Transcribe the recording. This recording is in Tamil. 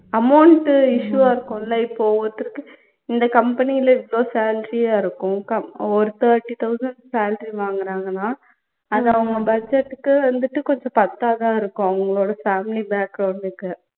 amount issue ஆ இருக்கும்ல இப்போ ஒருத்தருக்கு company ல இவ்வளோ salary ஆ இருக்கும் க ஒரு thirty thousand salary வாங்குறங்கன்னா அது அவங்க budget க்கு வந்துட்டு கொஞ்சம் பத்தாதாயிருக்கும் அவங்களோட family background க்கு